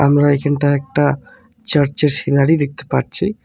আমরা এইখানটায় একটা চার্চের সিনারি দেখতে পারছি।